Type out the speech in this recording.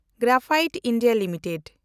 graphite India limited